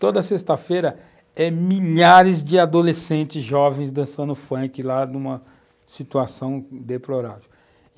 Toda sexta-feira é milhares de adolescentes jovens dançando funk lá numa situação deplorável.